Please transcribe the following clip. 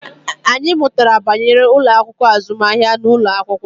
Anyị mụtara banyere ụlọ akụ azụmahịa n'ụlọ akwụkwọ